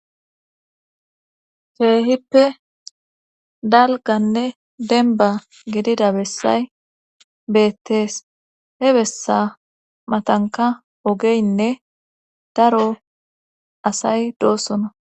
Keehippe dalgganne dembba gidida bessay beettees he bessa matankka oogeynne daro asay doossona